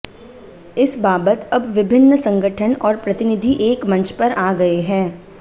इस बाबत अब विभिन्न संगठन और प्रतिनिधि एक मंच पर आ गए हैं